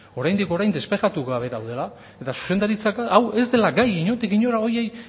oraindik orain despejatu gabe daudela eta zuzendaritzak ez dela gai inondik inora horiei